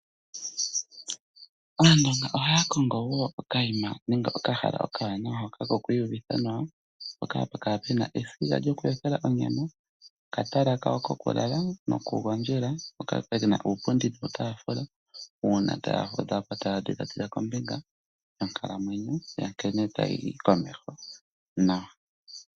Aandonga ohaya kongo ehala ewaanawa lyoku iyuvithila nawa mpoka hapu kala pu na esiga lyokuyothela onyama, okatala kokulala nokugondja, mpoka pu na uupundi nuutaafula uuna taya kundathana nkene onkalamwenyo tayi yi komeho nawa.